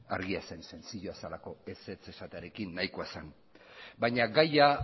argia zen sentziloa zelako ezetz esatearekin nahikoa zen baina gaia